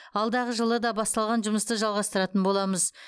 алдағы жылы да басталған жұмысты жалғастыратын боламыз